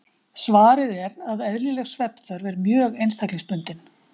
Svarið er að eðlileg svefnþörf er mjög einstaklingsbundin.